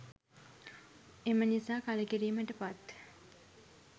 එම නිසා කළකිරීමට පත්